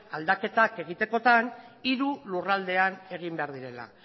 aldaketak egitekotan hiru lurraldeetan egin behar direla